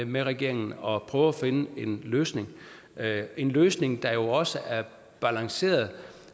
med regeringen og prøve at finde en løsning en løsning der jo også er balanceret